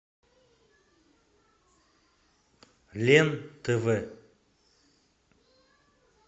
лен тв